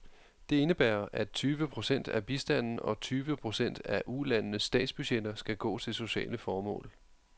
Det indebærer, at tyve procent af bistanden og tyve procent af ulandenes statsbudgetter skal gå til sociale formål.